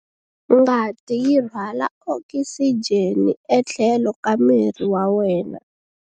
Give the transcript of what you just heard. Ngati yi rhwala okisijeni etlhelo ka miri wa wena.